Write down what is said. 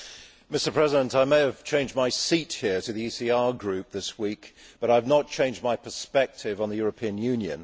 Mr President, I may have changed my seat here to the ECR Group this week, but I have not changed my perspective on the European Union.